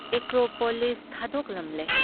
Acropolis ꯊꯥꯗꯣꯛꯂꯝꯂꯦ ꯫